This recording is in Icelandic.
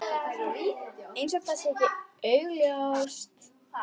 Eins og það sé ekki augljóst.